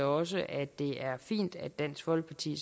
også at det er fint at dansk folkeparti